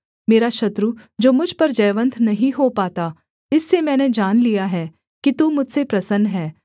मेरा शत्रु जो मुझ पर जयवन्त नहीं हो पाता इससे मैंने जान लिया है कि तू मुझसे प्रसन्न है